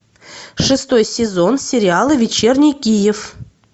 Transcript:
шестой сезон сериала вечерний киев